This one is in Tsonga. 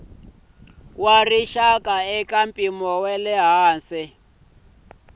wa rixaka na mpimo eka